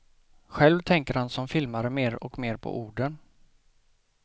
Själv tänker han som filmare mer och mer på orden.